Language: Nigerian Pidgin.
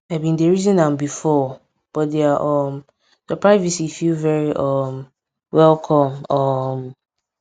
i bin dey reason am before but their um surprise visit feel very um welcome um